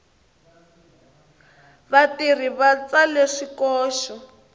vatirhi va tsale swikoxo